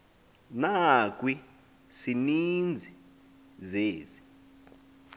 nakwi sininzi zezi